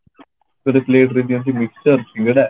ଗୋଟେ plate ରେ ଦିଅନ୍ତି mixture ସିଙ୍ଗଡା